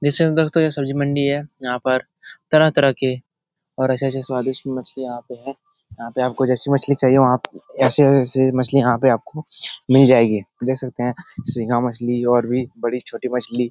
जिसके अन्दर तो ये सब्जी मंडी है । यहाँ पर तरह- तरह के और अच्छे- अच्छे स्वादिष्ट मछलियां यहां पे हैं। यहाँ पे आपको जैसी मछली चाहिए आपको ऐसे जैसे मछलियां आपको मिल जायेगी । देख सकते हैं सिंघा मछली और भी बड़ी-छोटी मछली --